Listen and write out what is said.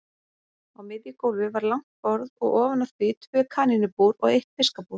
Á miðju gólfi var langt borð og ofan á því tvö kanínubúr og eitt fiskabúr.